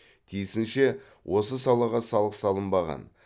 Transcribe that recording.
тиісінше осы салаға салық салынбаған